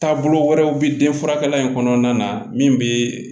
Taabolo wɛrɛw bɛ denfalan in kɔnɔna na min bɛ